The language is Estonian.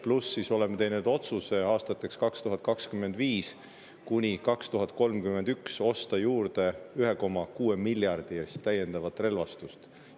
Pluss see, et oleme teinud otsuse aastatel 2025–2031 osta juurde 1,6 miljardi eest täiendavat relvastust.